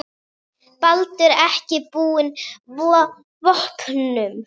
Baldur er ekki búinn vopnum.